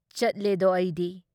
ꯆꯠꯂꯦꯗꯣ ꯑꯩꯗꯤ